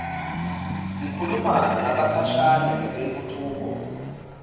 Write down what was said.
sikhuluma nalabakhashane ngetentfutfuko